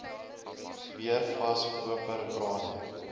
weer vas koperkrane